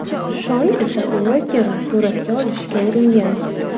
Shon esa Uokerni suratga olishga uringan.